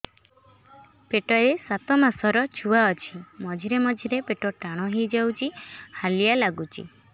ପେଟ ରେ ସାତମାସର ଛୁଆ ଅଛି ମଝିରେ ମଝିରେ ପେଟ ଟାଣ ହେଇଯାଉଚି ହାଲିଆ ଲାଗୁଚି